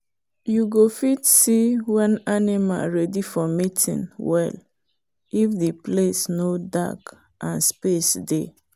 you go fit see when animal ready for mating well if the place no dark and space dey.